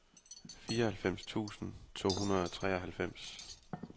fireoghalvfems tusind to hundrede og treoghalvfems